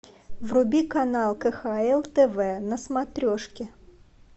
вруби канал кхл тв на смотрешке